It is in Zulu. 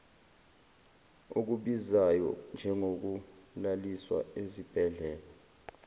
okubizayo njengokulaliswa esibhedlela